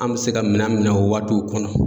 An me se ka minan minɛ o waatuw kɔnɔ